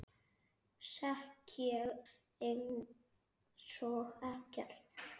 Sekk ég einsog ekkert.